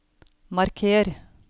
marker